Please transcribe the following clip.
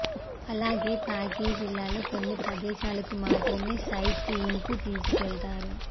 అలాగే ప్యాకేజీల్లో కొన్ని ప్రదేశాలకు మాత్రమే సైట్ సీయింగ్కు తీసుకెళ్తారు